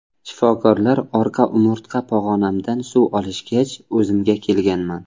Shifokorlar orqa umurtqa pog‘onamdan suv olishgach, o‘zimga kelganman.